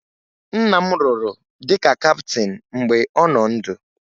Nna m rụrụ dịka kaptịn mgbe ọ nọ ndụ